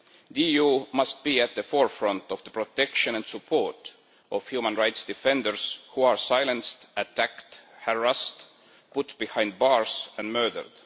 The EU must be at the forefront of the protection and support of human rights defenders who are silenced, attacked, harassed, put behind bars and murdered.